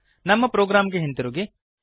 ನಮ್ಮ ಪ್ರೋಗ್ರಾಂಗೆ ಹಿಂದಿರುಗಿರಿ